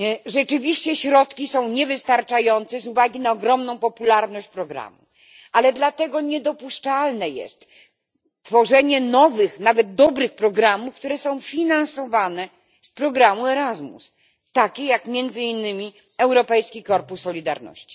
Rzeczywiście środki są niewystarczające z uwagi na ogromną popularność programu, ale dlatego niedopuszczalne jest tworzenie nowych, nawet dobrych, programów, które są finansowane z programu Erasmus, takich jak między innymi Europejski Korpus Solidarności.